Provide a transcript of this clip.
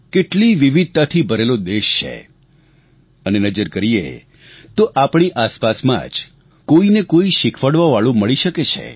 કેટલી વિવિધતાથી ભરેલો દેશ છે અને નજર કરીએ તો આપણી આસપાસમાં જ કોઈને કોઈ શીખવાડવાવાળું મળી શકે છે